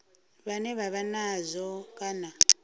vhane vha vha nazwo kana